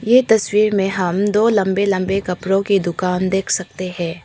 ये तस्वीर में हम दो लंबे लंबे कपड़ों की दुकान देख सकते हैं।